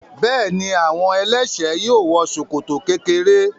Bẹ́ẹ̀ni, àwọn ẹlẹ́ṣẹ̀ẹ́ yóò wọ ṣòkòtò kékeré.